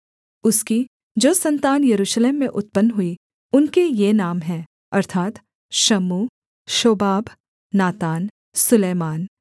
उसकी जो सन्तान यरूशलेम में उत्पन्न हुई उनके ये नाम हैं अर्थात् शम्मू शोबाब नातान सुलैमान